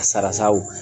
Sarasaw